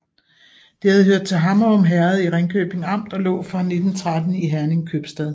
Det havde hørt til Hammerum Herred i Ringkøbing Amt og lå fra 1913 i Herning Købstad